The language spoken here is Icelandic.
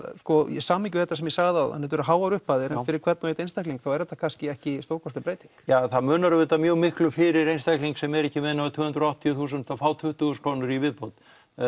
í samhengi við þetta sem ég sagði áðan þetta eru háar upphæðir fyrir hvern og einn einstakling þá er þetta kannski ekki stórkostleg breyting ja það munar auðvitað mjög miklu fyrir einstakling sem er ekki með nema tvö hundruð og áttatíu þúsund að fá tuttugu þúsund krónur í viðbót